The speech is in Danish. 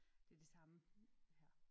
Det det samme her